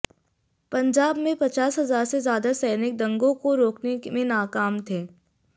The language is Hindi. पंजाब में पचास हजार से ज्यादा सैनिक दंगों को रोकने में नाकाम थे